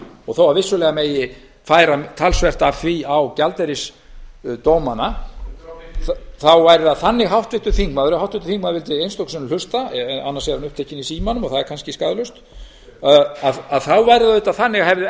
og þó að vissulega megi færa talsvert af því á gjaldeyrisdómana þá væri það þannig ef háttvirtur þingmaður vildi einstöku sinnum hlusta annars er hann upptekinn í símanum og það er kannski skaðlaust að hefðu